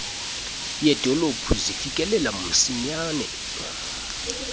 yedolophu zifikelela msinyane